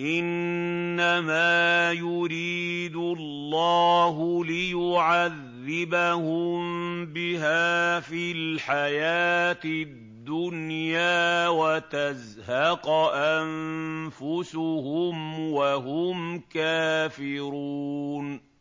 إِنَّمَا يُرِيدُ اللَّهُ لِيُعَذِّبَهُم بِهَا فِي الْحَيَاةِ الدُّنْيَا وَتَزْهَقَ أَنفُسُهُمْ وَهُمْ كَافِرُونَ